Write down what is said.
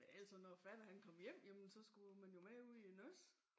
Ellers så når fatter han kom hjem jamen så skulle man jo med ud i æ nøds